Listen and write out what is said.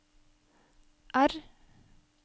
R